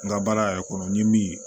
N ka baara yɛrɛ kɔnɔ n ye min